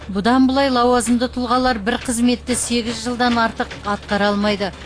бұдан былай лауазымды тұлғалар бір қызметті сегіз жылдан артық атқара алмайды